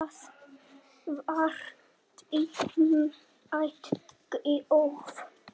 Það var dýrmæt gjöf.